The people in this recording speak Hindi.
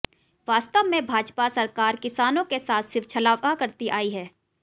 वास्तव में भाजपा सरकार किसानों के साथ सिर्फ छलावा करती आई हैं